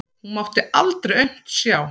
Hún mátti aldrei aumt sjá.